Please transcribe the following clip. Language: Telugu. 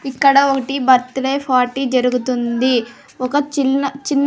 ఇక్కడ ఒకటి బర్త్డే ఫార్టీ జరుగుతుంది ఒక చిన్న చిన్--